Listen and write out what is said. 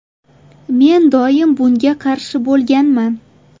Men doim bunga qarshi bo‘lganman.